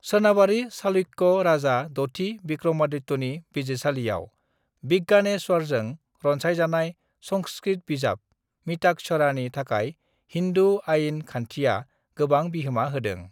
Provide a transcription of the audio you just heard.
सोनाबारि चालुक्य राजा दथि विक्रमादित्यनि बिजिरसालियाव विज्ञानेश्वरजों रनसायजानाय संस्कृत बिजाब मिताक्षरानि थाखाय हिन्दु आइन खान्थिया गोबां बिहोमा होदों।